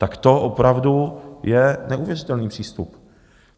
Tak to opravdu je neuvěřitelný přístup.